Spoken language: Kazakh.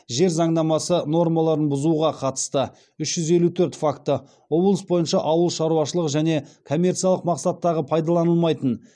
жер заңнамасы нормаларын бұзуға қатысты үш жүз елу төрт факті облыс бойынша ауыл шаруашылығы және коммерциялық мақсаттағы пайдаланылмайтын